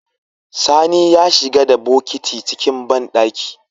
Sani ya shiga da bokiti ciki banɗaki